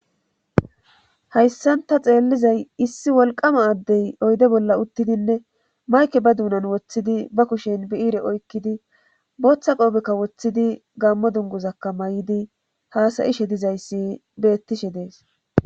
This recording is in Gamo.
hayssanta xeellizay issi wolqama addey oyde bolla uttidinne mayke ba duunan woththidi ba kushen bi7iire oykkidi booththa qoobekka woththidi gammo dunguzakka may7idi haasayishe dizayssi bettishe dees